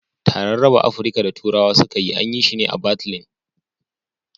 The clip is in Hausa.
Taran raba Afrika da turawa suka yi, an yi shi ne a Batlin